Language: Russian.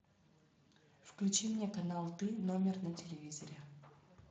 включи мне канал ты номер на телевизоре